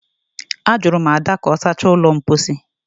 Ajụrụ m Ada ka ọ sachaa ụlọ mposi